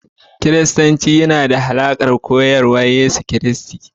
Kiristanci yana da alaƙa da koyarwar Yesu Kiristi